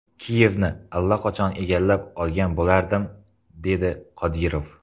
Kiyevni allaqachon egallab olgan bo‘lardim”, dedi Qodirov.